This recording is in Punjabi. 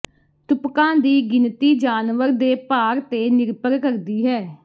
ਤੁਪਕਾਂ ਦੀ ਗਿਣਤੀ ਜਾਨਵਰ ਦੇ ਭਾਰ ਤੇ ਨਿਰਭਰ ਕਰਦੀ ਹੈ